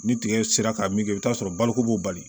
Ni tigɛ sera ka min kɛ i bi t'a sɔrɔ baloko b'o la bali